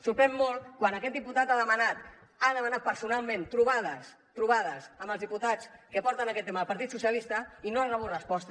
sorprèn molt quan aquest diputat ha demanat personalment trobades trobades amb els diputats que porten aquest tema del partit socialistes i no ha rebut resposta